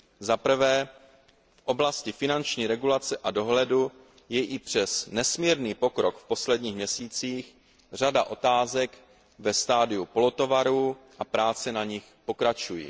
Za prvé, v oblasti finanční regulace a dohledu je i přes nesmírný pokrok v posledních měsících řada otázek ve stadiu polotovarů a práce na nich pokračují.